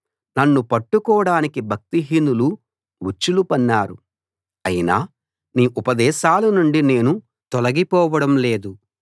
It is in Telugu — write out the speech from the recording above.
నన్ను పట్టుకోడానికి భక్తిహీనులు ఉచ్చులు పన్నారు అయినా నీ ఉపదేశాలనుండి నేను తొలగిపోవడం లేదు